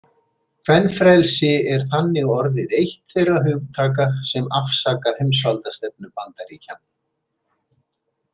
Kvenfrelsi er þannig orðið eitt þeirra hugtaka sem afsakar heimsvaldastefnu Bandaríkjanna.